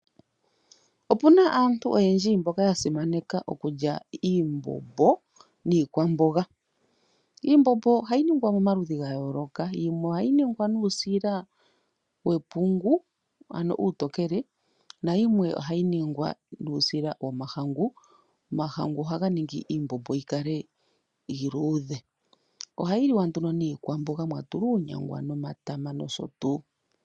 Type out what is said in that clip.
Opuna aantu oyendji mboka yasimaneka okulya iimbombo niikwamboga. Iimbombo ohayi ningwa momaludhi ga yooloka, yimwe ohayi ningwa nuusila wepungu uutokele nayimwe ohayi ningwa nuusila womahangu. Omahangu ohaga ningi iimbombo yikale iluudhe. Ohayi liwa nduno niikwamboga mwa tulwa uunyamga nomatama nosho tuu.